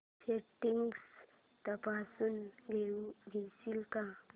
settings तपासून घेशील का